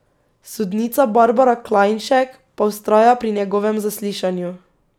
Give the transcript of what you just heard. Sodnica Barbara Klajnšek pa vztraja pri njegovem zaslišanju.